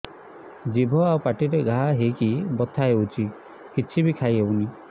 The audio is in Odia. ଜିଭ ଆଉ ପାଟିରେ ଘା ହେଇକି ବଥା ହେଉଛି କିଛି ବି ଖାଇହଉନି